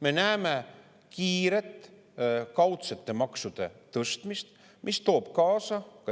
Me näeme kiiret kaudsete maksude tõstmist, mis toob